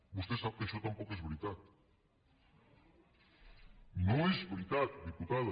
vostè sap que això tampoc és veritat no és veritat diputada